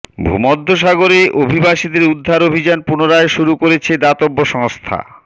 ভূমধ্যসাগরে অভিবাসীদের উদ্ধার অভিযান পুনরায় শুরু করেছে দাতব্য সংস্থা